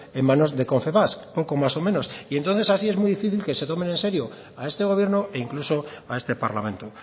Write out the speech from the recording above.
en manos de confesbak poco más o menos y entonces así es muy difícil que se tomen en serio a este gobierno e incluso a este parlamento